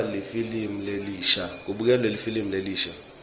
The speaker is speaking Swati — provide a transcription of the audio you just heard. kubukelwa lifilimu lelisha